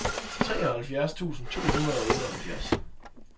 treoghalvfjerds tusind to hundrede og otteoghalvfjerds